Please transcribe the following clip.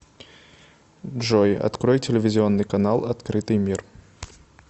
джой открой телевизионный канал открытый мир